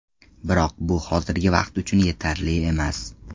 Biroq bu hozirgi vaqt uchun yetarli emas.